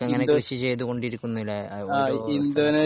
ഇതൊക്കെ ഇങ്ങനെ കൃഷി ചെയ്തുകൊണ്ടിരിക്കുന്ന അല്ലേ ഓരോ